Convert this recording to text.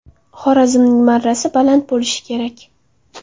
Xorazmning marrasi baland bo‘lishi kerak.